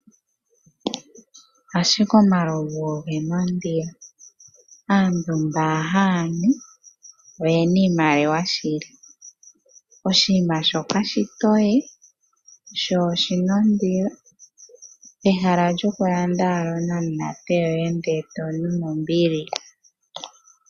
Ashike omalovu oge na ondilo, aantu mboka haya nu oye na iimaliwa shili, oshinima sho kashishi oshitoye sho oshi na ondilo pehala owala lyokulanda onamunate yoye ndele e to nu nombili.